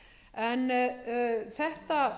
en verði þetta